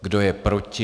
Kdo je proti?